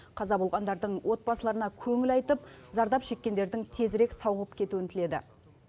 қаза болғандардың отбасыларына көңіл айтып зардап шеккендердің тезірек сауығып кетуін тіледі